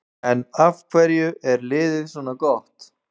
En af hverju er liðið svona gott?